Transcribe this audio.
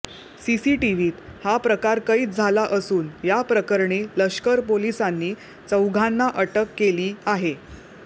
सीसीटीव्हीत हा प्रकार कैद झाला असून याप्रकरणी लष्कर पोलिसांनी चौघांना अटक केली आहे